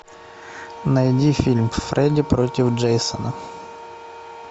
найди фильм фредди против джейсона